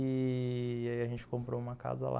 E a gente comprou uma casa lá.